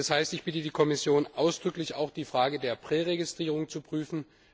Das heißt, ich bitte die Kommission ausdrücklich, auch die Frage der Präregistrierung zu prüfen.